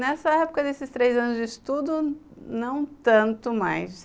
Nessa época desses três anos de estudo, não tanto mais.